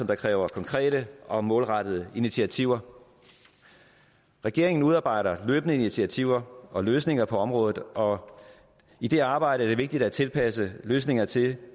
der kræver konkrete og målrettede initiativer regeringen udarbejder løbende initiativer og løsninger på området og i det arbejde er det vigtigt at tilpasse løsningerne til